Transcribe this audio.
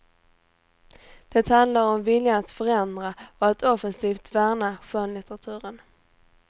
Det handlar om viljan att förändra och att offensivt värna skönlitteraturen.